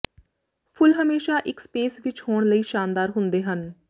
ਫੁੱਲ ਹਮੇਸ਼ਾ ਇੱਕ ਸਪੇਸ ਵਿੱਚ ਹੋਣ ਲਈ ਸ਼ਾਨਦਾਰ ਹੁੰਦੇ ਹਨ